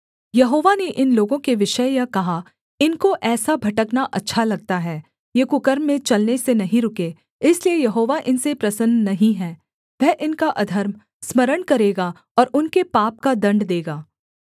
यहोवा ने इन लोगों के विषय यह कहा इनको ऐसा भटकना अच्छा लगता है ये कुकर्म में चलने से नहीं रुके इसलिए यहोवा इनसे प्रसन्न नहीं है वह इनका अधर्म स्मरण करेगा और उनके पाप का दण्ड देगा